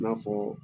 I n'a fɔ